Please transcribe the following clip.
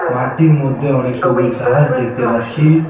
মাঠটির মধ্যে অনেক সবুজ ঘাস দেখতে পাচ্ছি।